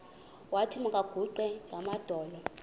wathi makaguqe ngamadolo